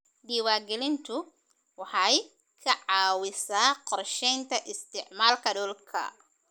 Diiwaangelintu waxay ka caawisaa qorshaynta isticmaalka dhulka.